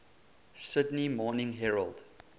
sydney morning herald